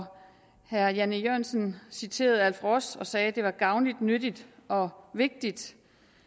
herre jan e jørgensen citerede alf ross og sagde at det er er gavnligt nyttigt og vigtigt